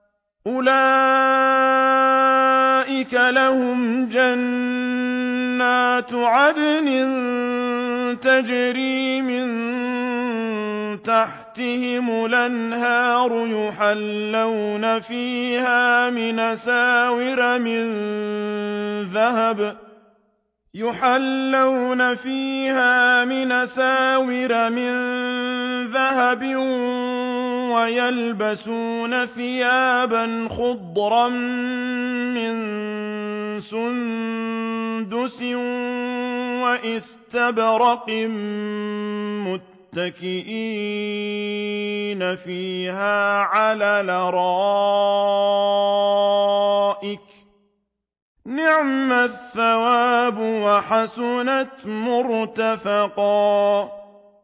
أُولَٰئِكَ لَهُمْ جَنَّاتُ عَدْنٍ تَجْرِي مِن تَحْتِهِمُ الْأَنْهَارُ يُحَلَّوْنَ فِيهَا مِنْ أَسَاوِرَ مِن ذَهَبٍ وَيَلْبَسُونَ ثِيَابًا خُضْرًا مِّن سُندُسٍ وَإِسْتَبْرَقٍ مُّتَّكِئِينَ فِيهَا عَلَى الْأَرَائِكِ ۚ نِعْمَ الثَّوَابُ وَحَسُنَتْ مُرْتَفَقًا